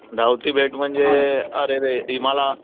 धावती भेट म्हणजे अरे रे मला,